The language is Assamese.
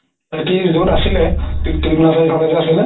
সেহেতি য'ত আছিলে ইফালে যে আছিলে